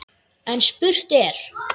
En spurt er: